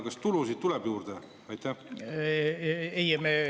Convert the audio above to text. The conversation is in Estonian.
Kas tulusid tuleb juurde?